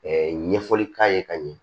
ɲɛfɔli k'a ye ka ɲɛ